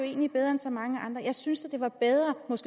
egentlig bedre end så mange andre jeg synes at det var bedre